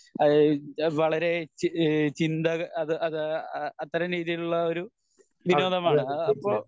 അതായേ വളരേ ചിന്ത അത് അത് അത്രേം രീതിയിൽ ഉള്ള ഒരു വിനോദമാണ് ആഹ് അപ്പൊ